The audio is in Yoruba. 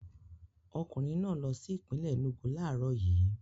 Ọkùnrin náà lọ sí ìpínlè Enúgu láàárọ̀ yìí.